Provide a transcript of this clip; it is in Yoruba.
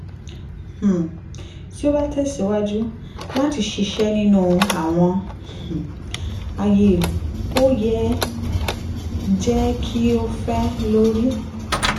um ti o ba tẹsiwaju lati ṣiṣe ninu awọn um aaye o yoo jẹ ki o fẹ lori